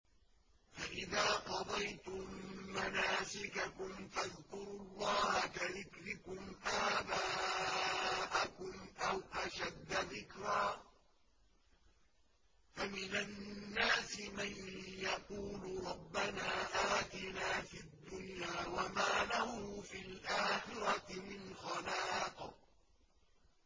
فَإِذَا قَضَيْتُم مَّنَاسِكَكُمْ فَاذْكُرُوا اللَّهَ كَذِكْرِكُمْ آبَاءَكُمْ أَوْ أَشَدَّ ذِكْرًا ۗ فَمِنَ النَّاسِ مَن يَقُولُ رَبَّنَا آتِنَا فِي الدُّنْيَا وَمَا لَهُ فِي الْآخِرَةِ مِنْ خَلَاقٍ